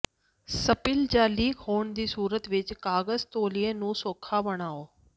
spill ਜਾਂ leak ਹੋਣ ਦੀ ਸੂਰਤ ਵਿੱਚ ਕਾਗਜ ਤੌਲੀਏ ਨੂੰ ਸੌਖਾ ਬਣਾਉ